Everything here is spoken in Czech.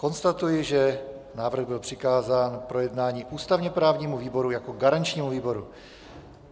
Konstatuji, že návrh byl přikázán k projednání ústavně-právnímu výboru jako garančnímu výboru.